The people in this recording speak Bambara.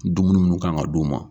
Dumuni mun kan ka d'u ma.